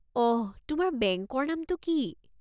অহ, তোমাৰ বেংকৰ নামটো কি?